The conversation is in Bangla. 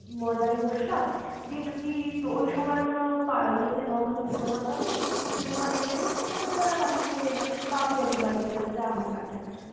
ময়দানে বসলাম দিয়ে যদি ওই সময় কোনো পা ইয়ে তে নন্দনে cinema চলে, cinema দেখে-টেখে রাত্রি বেলা বাড়ি ফিরে এলাম, বা পিয়ালির বাড়ি গেলাম যা হোক একটা কিছু ।